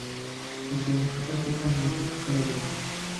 сбер какой официальный язык в карелия